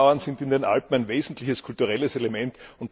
Die Bergbauern sind in den Alpen ein wesentliches kulturelles Element.